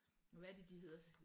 Hvad er det de hedder?